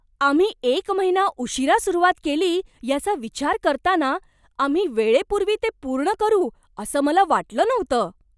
आम्ही एक महिना उशीरा सुरुवात केली याचा विचार करताना, आम्ही वेळेपूर्वी ते पूर्ण करू असं मला वाटलं नव्हतं.